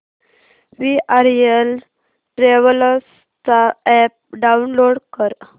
VRL travels चा app download कर